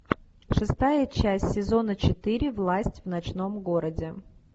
шестая часть сезона четыре власть в ночном городе